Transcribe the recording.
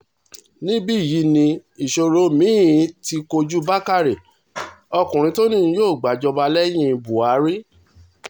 níbí yìí ni ìṣòro mi-ín ti kojú bàkàrẹ ọkùnrin tó ní òun yóò gbàjọba lẹ́yìn buhari